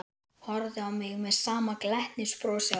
Horfði á mig með sama glettnisbrosið á vörunum.